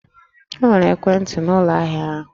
E nwere ekwentị n'ụlọ ahịa ahụ?